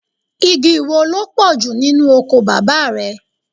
Igi wo ló pọ̀jù nínú oko bàbá rẹ?